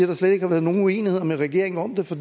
der slet ikke har været nogen uenigheder med regeringen om det for